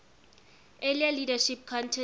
earlier leadership contest